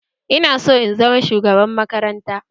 Ina son in zama shugaban makaranta